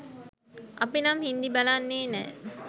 අපිනම් හින්දි බලන්නෙ නෑ